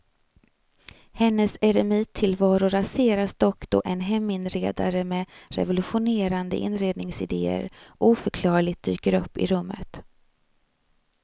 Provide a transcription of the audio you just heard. Hennes eremittillvaro raseras dock då en heminredare med revolutionerande inredningsidéer oförklarligt dyker upp i rummet.